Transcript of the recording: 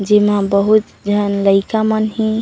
जेमा बहुत झन लइका मन हे।